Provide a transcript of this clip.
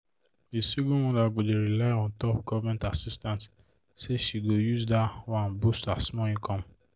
the single mother go dey rely untop government assistance say she go use that one boost her small income.